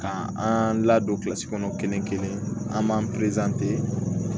Ka an ladon kilasi kɔnɔ kelen kelen an b'an